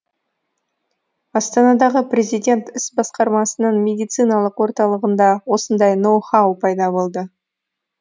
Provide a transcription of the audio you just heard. астанадағы президент іс басқармасының медициналық орталығында осындай ноу хау пайда болды